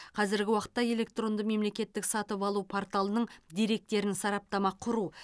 қазіргі уақытта электронды мемлекеттік сатып алу порталының деректерін сараптама құру